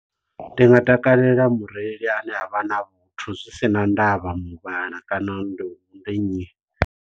Ndi nga takalela mureili a ne a vha na vhuthu zwi sina ndavha muvhala kana ndi uri ndi nnyi.